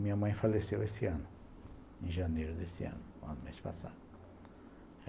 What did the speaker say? Minha mãe faleceu esse ano, em janeiro desse ano, um mês passado.